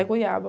É, goiaba.